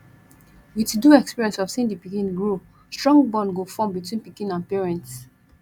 with do experience of seeing di pikin grow strong bond go form between pikin and parents